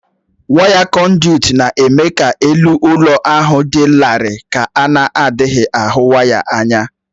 Waya kọ̀ndị̀ụ̀t na-eme ka elu ụlọ ahụ dị larịị ka a na-adịghị ahụ waya anya w